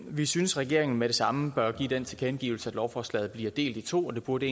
vi synes regeringen med det samme bør give den tilkendegivelse at lovforslaget bliver delt i to det burde